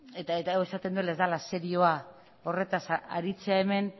eta hori esaten duela ez dela serioa horretaz aritzea hemen